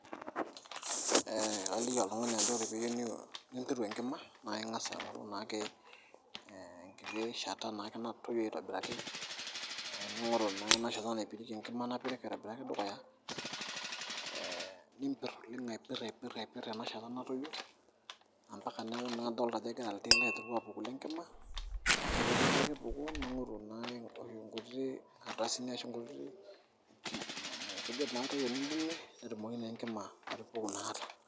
Ee alaiki oltung'ani ajoki ore teniyieu nimpirru enkima naa ing'as naa ake aing'oru naake enkiti shata natoyio aitobiraki ee ning'oru naa ena shata naipirieki enkima napirik naake dukuya aa niimpir oleng' aipirr aipirr ena shata natoyio ompaka naa neeku idolta ajo egira iltil aapuku lenkima, ore pee eeku kepuku ning'oru naake nkuti ardasini nkujit naake pee imbung'ie pee etumoki naa enkima atupuku ina kata.